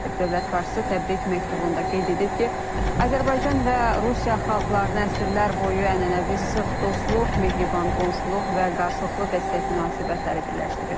Dövlət başçısı təbrik məktubunda qeyd edib ki, Azərbaycan və Rusiya xalqlarını əsrlər boyu ənənəvi sıx dostluq, mehriban qonşuluq və qarşılıqlı dəstək münasibətləri birləşdirir.